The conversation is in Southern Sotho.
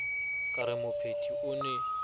ka re mopheti o ne